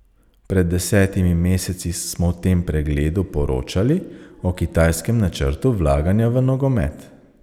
Pred desetimi meseci smo v tem pregledu poročali o kitajskem načrtu vlaganja v nogomet.